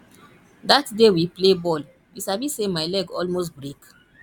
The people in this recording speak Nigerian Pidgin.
that day we play ball you sabi say my leg almost break